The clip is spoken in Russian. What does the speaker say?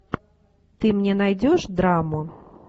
ты мне найдешь драму